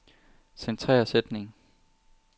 Centrer sætning.